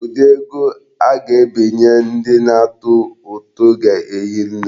Ụdị ego a ga-ebinye ndị na-atụ ụtụ ga-ehi nne.